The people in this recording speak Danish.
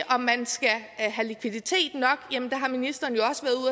om man skal have likviditet nok har ministeren jo